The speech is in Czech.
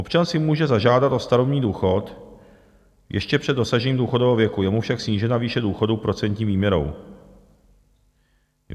"Občan si může zažádat o starobní důchod ještě před dosažením důchodového věku, je mu však snížena výše důchodu procentní výměrou.